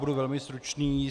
Budu velmi stručný.